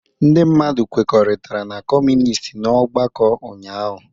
Ndị mmadụ kwekọrịtara na Kọmunist n'ọgbakọ ụnyahụ